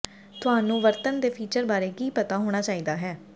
ਤੁਹਾਨੂੰ ਵਰਤਣ ਦੇ ਫੀਚਰ ਬਾਰੇ ਕੀ ਪਤਾ ਹੋਣਾ ਚਾਹੀਦਾ ਹੈ